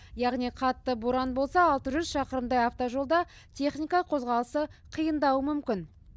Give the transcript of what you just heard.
яғни қатты боран болса алты жүз шақырымдай автожолда техника қозғалысы қиындауы мүмкін